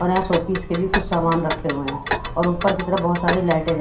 पर हां ऑफिस के लिए भी कुछ सामान रखे हुए है और ऊपर की तरफ बहोत सारी लाइटे --